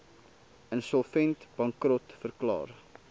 insolvent bankrot verklaar